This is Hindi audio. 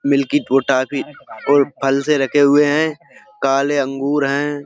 मिल्की टॉफी और फल से रखे हुए हैं। काले अंगूर हैं।